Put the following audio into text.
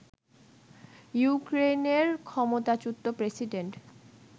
ইউক্রেইনের ক্ষমতাচ্যুত প্রেসিডেন্ট